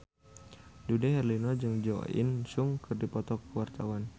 Dude Herlino jeung Jo In Sung keur dipoto ku wartawan